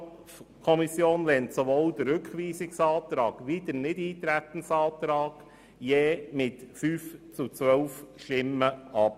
Die FiKo lehnt sowohl den Rückweisungsantrag als auch den Nichteintretensantrag jeweils mit 5 zu 12 Stimmen ab.